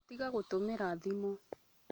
Tiga gũtũmĩra thimu